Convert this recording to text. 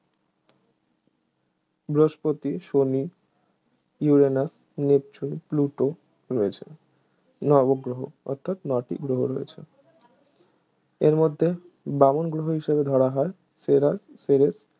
বৃহস্পতি শনি Uranus Neptune Pluto ঠিক আছে নবগ্রহ অর্থাৎ নয়টি গ্রহ রয়েছে এর মধ্যে বামন গ্রহ হিসেবে ধরা হয়